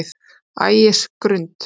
Ægisgrund